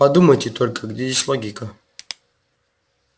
подумайте только где здесь логика